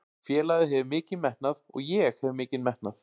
Félagið hefur mikinn metnað og ég hef mikinn metnað.